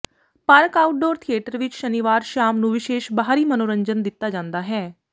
park outdoor theatre ਵਿਚ ਸ਼ਨੀਵਾਰ ਸ਼ਾਮ ਨੂੰ ਵਿਸ਼ੇਸ਼ ਬਾਹਰੀ ਮਨੋਰੰਜਨ ਦਿੱਤਾ ਜਾਂਦਾ ਹੈ